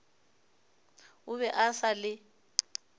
o be a sa le